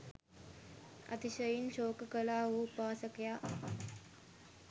අතිශයින් ශෝක කළා වූ උපාසකයා,